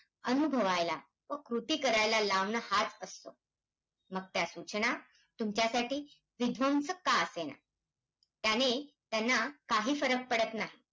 अनुभवायला, व कृती करायला लावणं, हाच असतो. मग त्या सूचना, तुमच्यासाठी विध्वंसक का असेना. त्याने त्यांना काही फरक पडत नाही.